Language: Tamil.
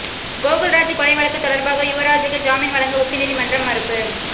கோகுல்ராஜ் கொலை வழக்கு தொடர்பாக யுவராஜூக்கு ஜாமீன் வழங்க உச்சநீதிமன்றம் மறுப்பு